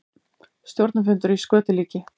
Stjórnarfundur í skötulíki